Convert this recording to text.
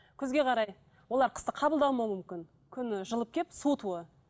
күзге қарай олар қысты қабылдамауы мүмкін күн жылып келіп суытуы